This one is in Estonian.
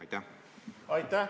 Aitäh!